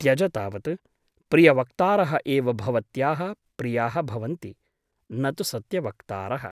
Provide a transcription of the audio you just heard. त्यज तावत् । प्रियवक्तारः एव भवत्याः प्रियाः भवन्ति , न तु सत्य वक्तारः ।